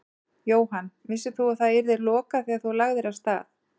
Jóhann: Vissir þú að það yrði lokað þegar þú lagðir af stað?